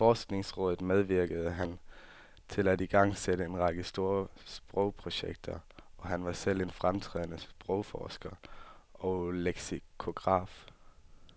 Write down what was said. I forskningsrådet medvirkede han til at igangsætte en række store sprogprojekter, og han var selv en fremtrædende sprogforsker og leksikograf.